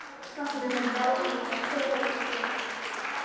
Fagnaðarlæti áhorfenda kveða við þegar hann grípur mig.